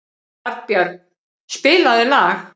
Arnbjörn, spilaðu lag.